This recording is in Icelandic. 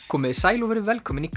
komiði sæl og verið velkomin í